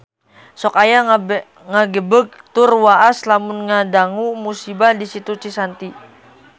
Sok asa ngagebeg tur waas lamun ngadangu musibah di Situ Cisanti